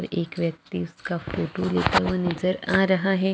एक व्यक्ति उसका फोटो लेते हुए नज़र आ रहा है।